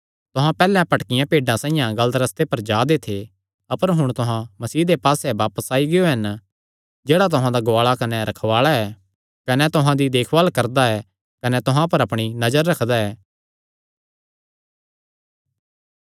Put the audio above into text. तुहां पैहल्लैं भटकियां भेड्डां साइआं गलत रस्ते पर जा दे थे अपर हुण तुहां मसीह दे पास्से बापस आई गियो हन जेह्ड़ा तुहां दा गुआल़ा कने रखवाल़ा ऐ कने तुहां दी देखभाल करदा कने तुहां पर अपणी नजर रखदा ऐ